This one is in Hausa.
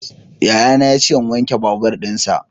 Yayana ya ce in wanke babur dinsa.